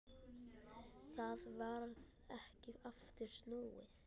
Það varð ekki aftur snúið.